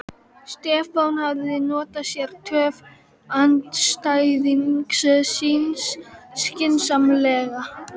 Stefán hafði notað sér töf andstæðings síns skynsamlega.